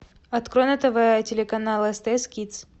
открой на тв телеканал стс кидс